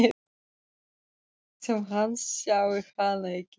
Hann lætur sem hann sjái hana ekki.